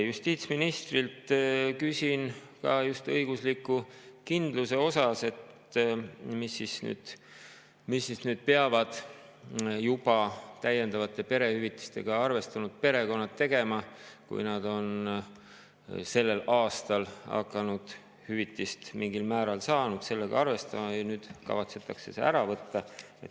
Justiitsministrilt küsin ka just õigusliku kindluse kohta, et mida siis nüüd peavad juba täiendava perehüvitisega arvestanud perekonnad tegema, kui nad on sellel aastal hüvitist mingil määral saanud ja sellega arvestanud, aga nüüd kavatsetakse see ära võtta.